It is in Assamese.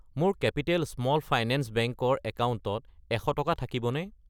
মোৰ কেপিটেল স্মল ফাইনেন্স বেংক ৰ একাউণ্টত 100 টকা থাকিবনে?